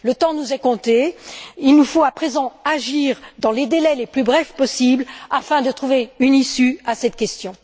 Le temps nous est compté, il nous faut à présent agir dans les délais les plus brefs possibles afin de trouver une issue à cette question.